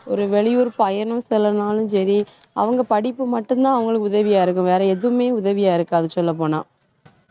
ஒரு வெளியூர் பயணம் செல்லனாலும் சரி. அவங்க படிப்பு மட்டும்தான் அவங்களுக்கு உதவியா இருக்கும். வேற எதுவுமே உதவியா இருக்காது சொல்லப் போனா